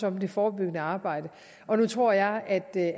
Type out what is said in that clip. om det forebyggende arbejde og nu tror jeg at